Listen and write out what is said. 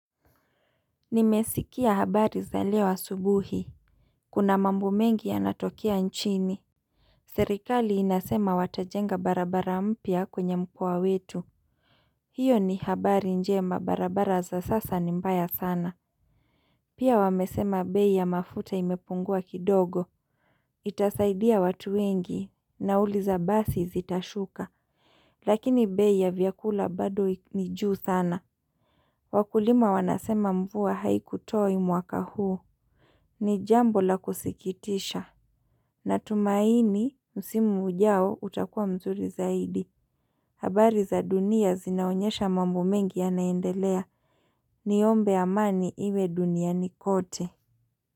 Nimesikia habari za leo asubuhi Kuna mambo mengi ya natokea nchini Serikali inasema watajenga barabara mpya kwenye mkoa wetu hiyo ni habari njema barabara za sasa ni mbaya sana Pia wamesema bei ya mafuta imepungua kidogo Itasaidia watu wengi Nauli za basi zitashuka Lakini bei ya vyakula bado ni juu sana Wakulima wanasema mvua haiku toi mwaka huu ni jambo la kusikitisha Natumaini msimu ujao utakuwa mzuri zaidi habari za dunia zinaonyesha mambu mengi yanaendelea Niombe amani iwe duniani kote.